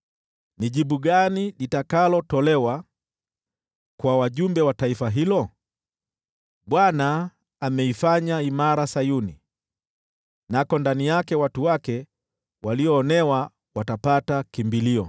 Ni jibu gani litakalotolewa kwa wajumbe wa taifa hilo? “ Bwana ameifanya imara Sayuni, nako ndani yake watu wake walioonewa watapata kimbilio.”